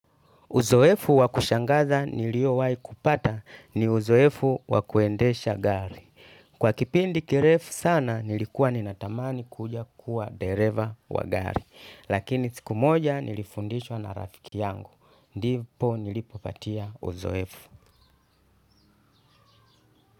Uzoefu wa kushangaza niliowahi kupata ni uzoefu wa kuendesha gari. Kwa kipindi kirefu sana nilikuwa ninatamani kuja kuwa dereva wa gari. Lakini siku moja nilifundishwa na rafiki yangu. Ndipo nilipopatia uzoefu.